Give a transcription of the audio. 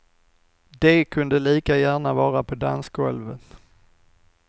De kunde lika gärna vara på dansgolvet.